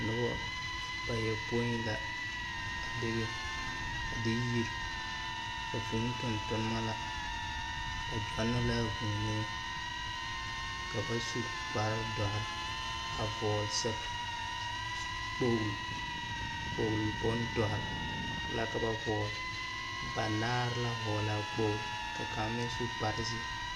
Dɔbɔ bayɔpõĩ la, a bebe, a de yiri, a vũũ tontonema la. Ba gyɔnnɔ laa vuunee. Ka ba su kpare-dɔre, a vɔgle sa s s kpogli, kpogli bondɔre, la ka ba vɔgle. Banaare la hɔglaa kpogli, ka kaŋ meŋ su kparezeɛ.